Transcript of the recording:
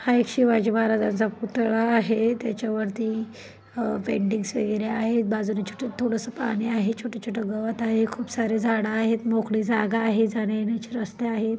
हा एक शिवाजी महाराजांचा पुतळा आहे त्याच्यावरती अं पेन्टिंग्ज वगैरे आहे बाजूला छोटं थोडंसं पाणी आहे छोटं-छोटं गवत आहे खूप सारे झाडं आहेत मोकळी जागा आहे जाण्यायेण्याचे रस्ते आहेत.